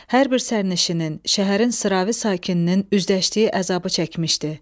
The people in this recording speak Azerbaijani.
Hər bir sərnişinin, şəhərin sıravi sakininin üzləşdiyi əzabı çəkmişdi.